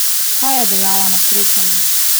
Kaj je dejala po srečanju?